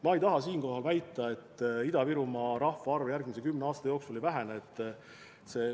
Ma ei taha siinkohal väita, et Ida-Virumaa rahvaarv järgmise kümne aasta jooksul ei vähene.